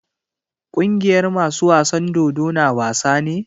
Kungiyar masu wasan dodo na wasa ne?